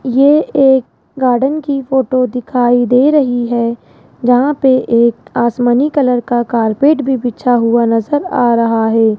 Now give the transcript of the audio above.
ये एक गार्डन की फोटो दिखाई दे रही है जहां पे एक आसमानी कलर का कारपेट भी बिछा हुआ नजर आ रहा है।